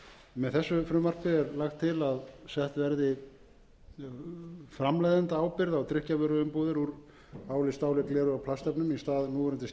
með þessu frumvarpi er lagt til að sett verði framleiðendaábyrgð á drykkjarvöruumbúðir úr áli stáli gleri og plastefnum í stað